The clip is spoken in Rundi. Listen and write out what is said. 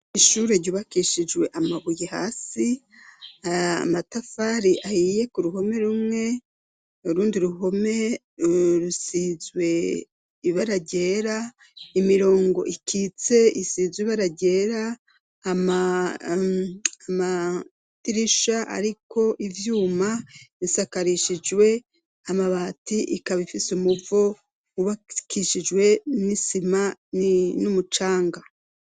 Ishure ry'ubakishijwe amabuye hasi amatafari ahiye ku ruhome rumwe rundi ruhome rusizwe ibara ryera imirongo ikitse isize ibaragera amatirisha ariko ivyuma isakarishijwe amabati ikaba ifise umuvo ubakishijwe n'isima n'umucanga.